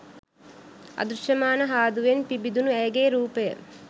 අදෘශ්‍යමාන හාදුවෙන් පිබිදුණු ඇයගේ රූපය